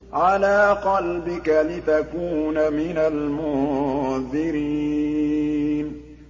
عَلَىٰ قَلْبِكَ لِتَكُونَ مِنَ الْمُنذِرِينَ